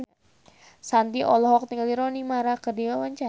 Shanti olohok ningali Rooney Mara keur diwawancara